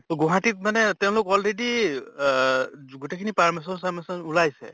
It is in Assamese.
তʼ গুৱাহাটীত মানে তেওঁলোক already অহ য গোটেই খিনি permission চাৰ্মিচন ওলাইছে